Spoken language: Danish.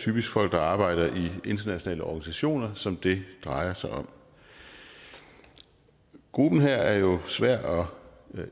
typisk folk der arbejder i internationale organisationer som det drejer sig om gruppen her er jo svær at